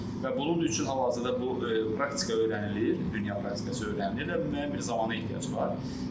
Və bunun üçün hal-hazırda bu praktika öyrənilir, dünya praktikası öyrənilir və müəyyən bir zamana ehtiyac var.